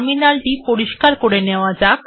terminal টি পরিস্কার করে নেওয়া যাক